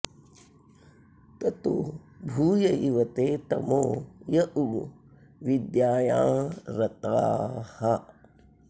ततो भूय इव ते तमो य उ विद्यायाँ रताः